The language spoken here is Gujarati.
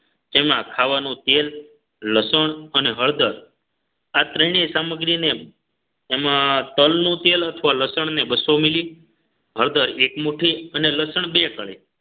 એમાં ખાવાનું તેલ લસણ અને હળદર આ ત્રણેય સામગ્રીને એમાં તલનું તેલ અથવા લસણને બસો milli હળદર એક મુઠ્ઠી અને લસણ બે કળી